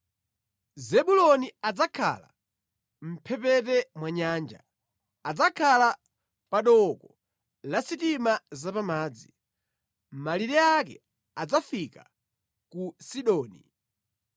“Zebuloni adzakhala mʼmphepete mwa nyanja; adzakhala pa dooko la sitima zapamadzi; malire ake adzafika ku Sidoni.